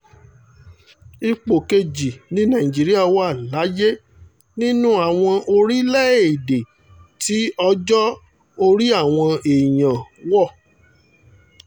ipò kejì ni nàìjíríà wà láyé nínú àwọn orílẹ̀-èdè tí ọjọ́-orí àwọn èèyàn wọ̀